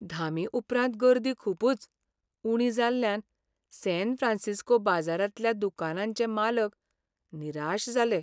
धामीउपरांत गर्दी खूबच उणी जाल्ल्यान सॅन फ्रॅन्सिस्को बाजारांतल्या दुकानांचे मालक निराश जाले.